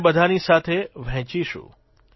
અને બધાની સાથે વહેંચીશું